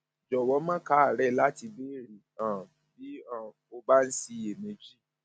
jọwọ má káàárẹ láti béèrè um bí um o bá ṣì ń ṣiyèméjì